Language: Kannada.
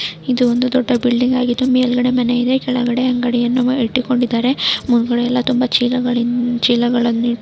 ಇದು ಒಂದು ದೊಡ್ಡ ಬಿಲ್ಡಿಂಗ್ ಆಗಿದ್ದು ಮೇಲ್ಗಡೆ ಮನೆ ಇದೆ ಕೆಳಗಡೆ ಅಂಗಡಿಯನ್ನು ಇಟ್ಟುಕೊಂದಿದಾರೆ. ಮುಂದ್ಗಡೆ ಎಲ್ಲ ತುಂಬ ಚೀಲಗಳಿ ಚೀಲಗಳನ್ನು--